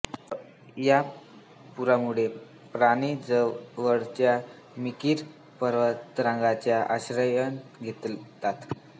या पुरामुळे प्राणी जवळच्या मिकिर पर्वतरांगेचा आश्रय घेतात